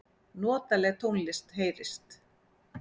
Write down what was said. Notaleg tónlist heyrist.